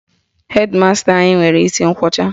Hedi masta anyị nwere isi nkwọcha